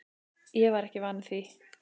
Ég var ekki vanur því.